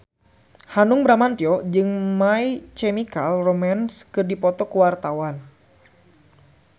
Hanung Bramantyo jeung My Chemical Romance keur dipoto ku wartawan